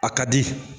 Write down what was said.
A ka di